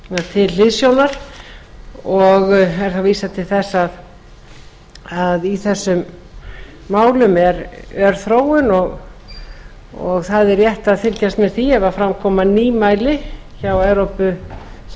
til hliðsjónar og er þá vísað til þess að í þessum málum er ör þróun og það er rétt að fylgjast með því ef fram koma nýmæli hjá